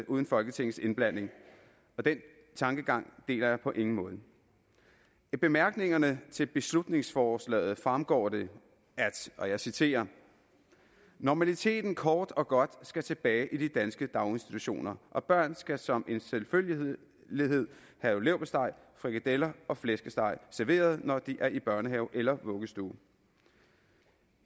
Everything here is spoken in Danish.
uden folketingets indblanding den tankegang deler jeg på ingen måde af bemærkningerne til beslutningsforslaget fremgår det at og jeg citerer normaliteten kort og godt skal tilbage i danske daginstitutioner og børn skal som en selvfølgelighed have leverpostej frikadeller og flæskesteg serveret når de er i børnehave eller vuggestue